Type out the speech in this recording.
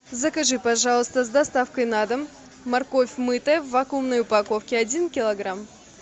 закажи пожалуйста с доставкой на дом морковь мытая в вакуумной упаковке один килограмм